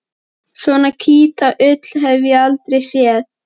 Svona hvíta ull hef ég aldrei séð.